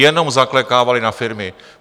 Jenom zaklekávali na firmy.